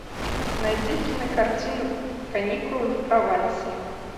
найди кинокартину каникулы в провансе